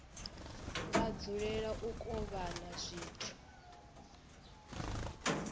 vha dzulela u kovhana zwithu